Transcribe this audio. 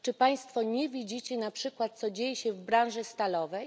Czy Państwo nie widzą na przykład co dzieje się w branży stalowej?